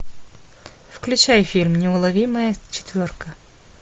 включай фильм неуловимая четверка